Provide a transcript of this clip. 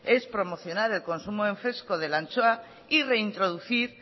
es promocionar el consumo en fresco de la anchoa y reintroducir